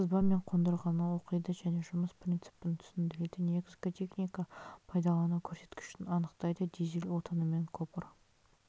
сызба мен қондырғыны оқиды және жұмыс принципін түсіндіреді негізгі техника пайдалану көрсеткіштерін анықтайды дизель отынымен копр